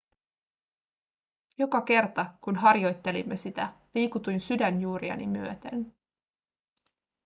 joka kerta kun harjoittelimme sitä liikutuin sydänjuuriani myöten